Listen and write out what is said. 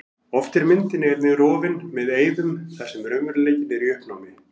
Oft er myndin einnig rofin með eyðum þar sem raunveruleikinn er í uppnámi.